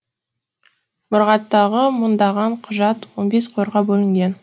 мұрағаттағы мыңдаған құжат он бес қорға бөлінген